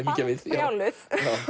brjáluð